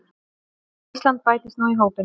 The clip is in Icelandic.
Ísland bætist nú í hópinn.